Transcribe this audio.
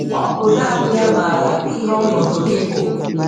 Ọ bụ nánị ya màára ihe ọ̀nọ̀dị̀ gị bụ